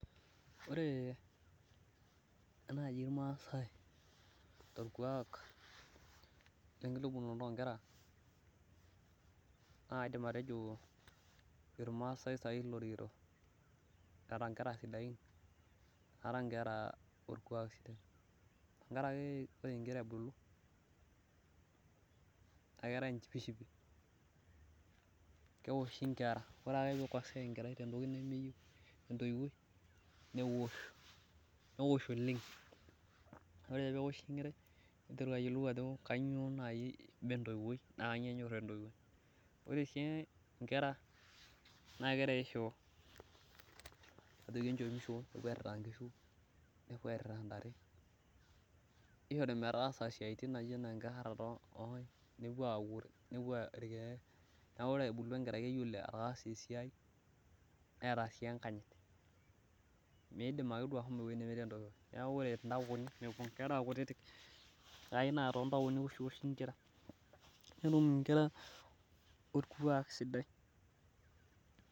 ore naaji ilmaasai tolkuak lekitubulunoto oo inkera naa kaidim atejo ilmaasai sai loo rikito, tiatua inkera sidain tenkaraki ore inkera ebulu naa ketae enchipishipi, kewoshi inkera ore ake pee ikosea enkerai te ntoiwuoi newosh newosh oleng' ore ake pee ewoshi enkerai niteru entoiwuoi ajo kanyio enyor naakerari shoo pee epuo airira intare, neeku ore ebulu enkerai naa keyiolo esiai pooki, netum inkera olkualk sidai.